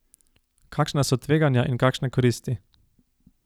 Kakšna so tveganja in kakšne koristi?